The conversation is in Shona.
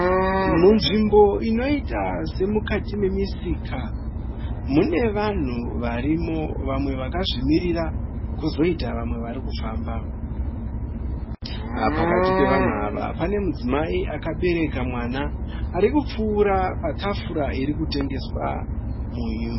Munzvimbo inoita semukati memusika. Mune vanhu varimo vamwe vakazvimirira kozoita vamwe varikufamba. Pakati pevanhu ava, pane mudzimai akabereka mwana arikupfuura patafura irikutengeswa munyu.